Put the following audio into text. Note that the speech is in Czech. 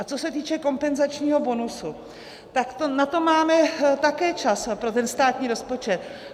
A co se týče kompenzačního bonusu, tak na to máme také čas pro ten státní rozpočet.